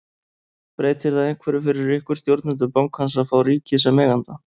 Breytir það einhverju fyrir ykkur, stjórnendur bankans að fá ríkið sem eiganda?